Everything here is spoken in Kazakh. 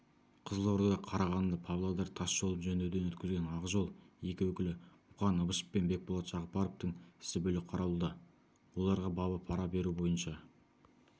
қызылорда қарағанды павлодар тас жолын жөндеуден өткізген ақжол екі өкілі мұқан ыбышев пен бекболат жағыпаровтың ісі бөлек қаралуда оларға бабы пара беру бойынша